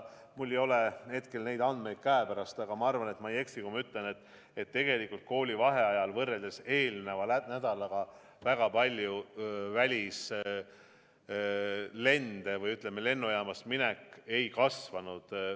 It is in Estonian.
Mul ei ole hetkel neid andmeid käepärast, aga ma arvan, et ma ei eksi, kui ma ütlen, et tegelikult koolivaheajal võrreldes eelnenud nädalaga väga palju välislende või lennujaamast minek ei kasvanud.